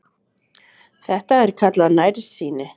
Þetta er kallað nærsýni.